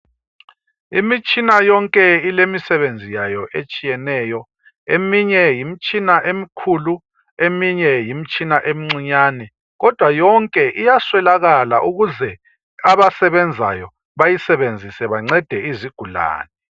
imitshina yonke ilemisebenzi yayo etshiyeneyo eminye yimtshina emkhulu eminye yimtshina emncinyane kodwa yonke iyaswelakala ukuze abasebenzayo bayisebenzise bancede izigulane